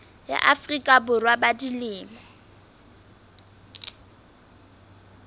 ya afrika borwa ba dilemo